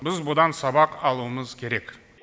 біз бұдан сабақ алуымыз керек